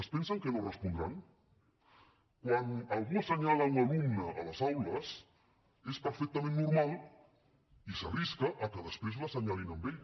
es pensen que no respondran quan algú assenyala un alumne a les aules és perfectament normal i s’arrisca a que després l’assenyalin a ell